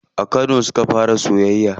A kano suka fara soyayya.